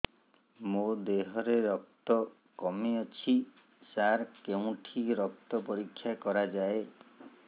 ମୋ ଦିହରେ ରକ୍ତ କମି ଅଛି ସାର କେଉଁଠି ରକ୍ତ ପରୀକ୍ଷା କରାଯାଏ